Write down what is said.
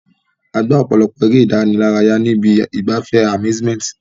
A gbá ọ̀pọ̀lọpọ̀ eré ìdárayá ní ibi ìgbafẹ́ amsuement.